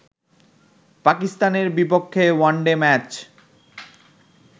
পাকিস্তানের বিপক্ষে one day match